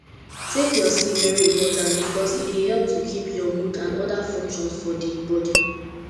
take your sleep very important because e dey help to keep your mood and oda functions for di body